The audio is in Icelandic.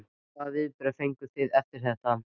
Hvaða viðbrögð fenguð þið eftir þetta?